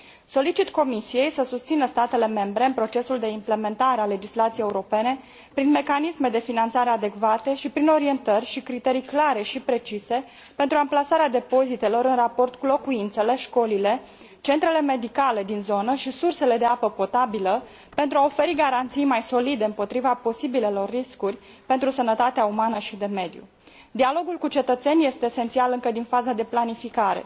Solicit Comisiei să susțină statele membre în procesul de implementare a legislației europene, prin mecanisme de finanțare adecvate și prin orientări și criterii clare și precise pentru amplasarea depozitelor în raport cu locuințele, școlile, centrele medicale din zonă și sursele de apă potabilă, pentru a oferi garanții mai solide împotriva posibilelor riscuri pentru sănătatea umană și pentru mediu. Dialogul cu cetățenii este esențial încă din faza de planificare.